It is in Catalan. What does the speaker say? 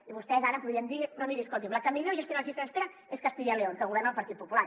i vostès ara podrien dir no miri escolti’m la que millor gestiona les llistes d’espera és castilla y león que governa el partit popular